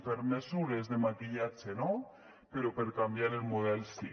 per mesures de maquillatge no però per canviar el model sí